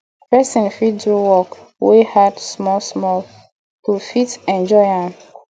person fit do work wey hard small small to fit enjoy am